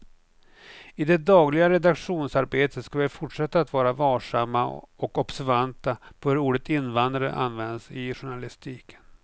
I det dagliga redaktionsarbetet ska vi fortsätta att vara varsamma och observanta på hur ordet invandrare används i journalistiken.